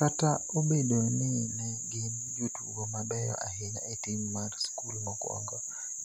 Kata obedo ni ne gin jotugo mabeyo ahinya e tim mar skul mokwongo,